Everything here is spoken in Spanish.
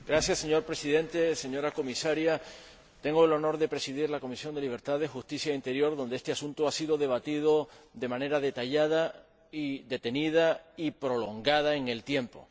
Señor Presidente, señora Comisaria, tengo el honor de presidir la Comisión de Libertades Civiles, Justicia y Asuntos de Interior, donde este asunto ha sido debatido de manera detallada, detenida y prolongada en el tiempo.